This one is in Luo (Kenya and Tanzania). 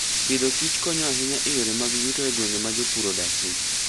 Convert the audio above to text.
Agriculture and Food konyo ahinya e yore mag yuto e gwenge ma jopur odakie.